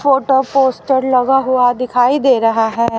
Photo poster लगा हुआ दिखाई रहा है।